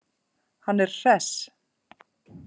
Hann er hress.